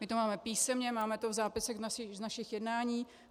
My to máme písemně, máme to v zápisech z našich jednání.